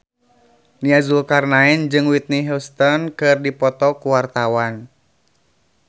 Nia Zulkarnaen jeung Whitney Houston keur dipoto ku wartawan